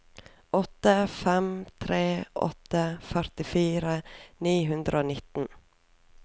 åtte fem tre åtte førtifire ni hundre og nitten